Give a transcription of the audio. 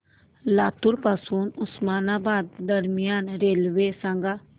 लातूर पासून उस्मानाबाद दरम्यान रेल्वे सांगा